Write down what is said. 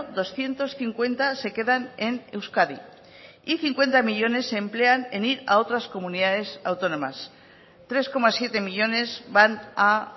doscientos cincuenta se quedan en euskadi y cincuenta millónes se emplean en ir a otras comunidades autónomas tres coma siete millónes van a